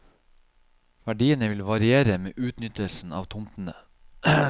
Verdiene vil variere med utnyttelsen av tomtene.